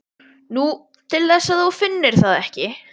Nú, til þess að þú finnir það ekki.